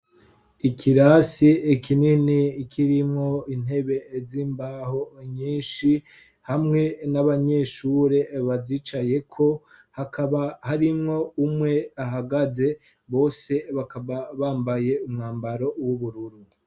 Ikirasi ikinini kirimwo intebe z'imbaho nyinshi hamwe n'abanyeshure bazicayeko, hakaba harimwo umwe ahagaze, bose bakaba bambaye umwambaro w'ubururu.